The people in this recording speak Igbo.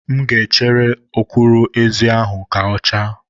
M ga-echere ọkwụrụ-ezi ahụ ka ọ chaa